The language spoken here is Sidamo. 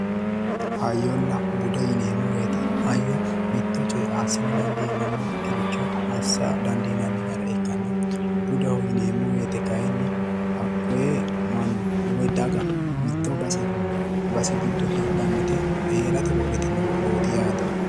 hayyonna bude yineemmo wote hayyo mitto coye assine dandiinannikiricho assa dandiinanni gede ikkanna budeho yineemmo wote kayinni hakkoye manni woy daga mitto base heedhannoti heerate wodhitino wodhooti yaate.